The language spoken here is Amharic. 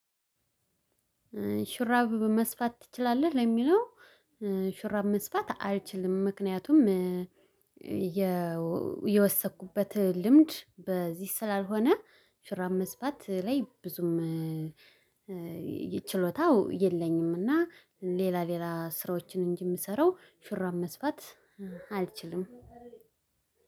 ሹራብ መስፋት ትችላለህ ለሚለው? ሹራብ መስፋት አልችልም ምክንያቱም የወሰደኩበት ልምድ በዚህ ስላልሆነ። ሹራብ መስፋት ላይ ብዙም ችሎታው የለኝም። እና ሌላ ሌላ ስራዎችን እንጂ የምሰራው ሹራብ መስፋት አልችልም።